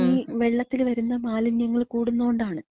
ഈ വെള്ളത്തില് വര്ന്ന മാലിന്യങ്ങള് കൂടുന്നോണ്ടാണ്.